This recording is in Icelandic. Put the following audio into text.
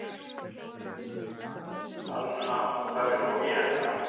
Þann hatt þarf ég nú að éta.